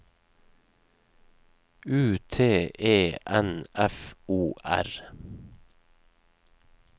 U T E N F O R